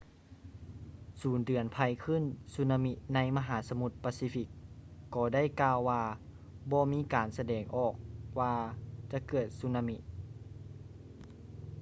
ສູນເຕືອນໄພຄື້ນສຸນາມິໃນມະຫາສະໝຸດປາຊີຟິກກໍໄດ້ກ່າວວ່າບໍ່ມີການສະແດງອອກວ່າຈະເກີດສຸນາມິ